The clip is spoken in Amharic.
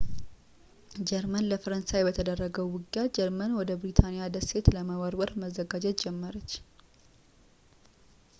ጀርመን ለፈረንሳይ በተደረገው ውጊያ ጀርመን ወደ ብሪታንያ ደሴት ለመውረር መዘጋጀት ጀመረች